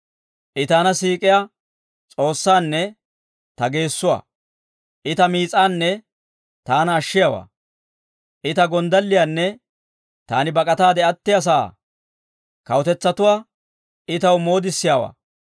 I taana siik'iyaa S'oossaanne ta geessuwaa; I ta miis'aanne taana ashshiyaawaa. I ta gonddalliyaanne taani bak'ataade attiyaa sa'aa. Kawutetsatuwaa I taw moodissiyaawaa.